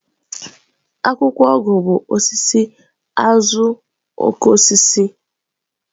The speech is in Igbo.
Akwụkwọ ọgwụ bụ osisi azuokokoosisi.